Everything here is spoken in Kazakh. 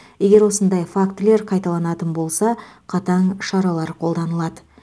егер осындай фактілер қайталанатын болса қатаң шаралар қолданылады